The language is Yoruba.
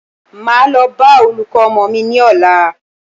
Máa lọ bá olùkọ́ ọmọ mí ní ọ̀la.